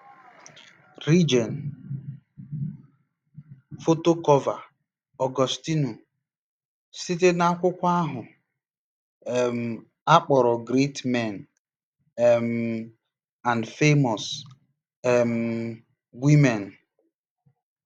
rigen: Foto Cọọva; Ọgọstinu: Site na akwụkwọ ahụ um a kpọrọ Great Men um and Famous um Women.